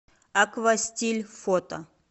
аква стиль фото